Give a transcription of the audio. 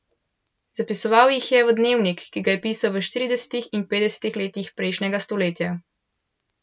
Zapisoval jih je v dnevnik, ki ga je pisal v štiridesetih in petdesetih letih prejšnjega stoletja.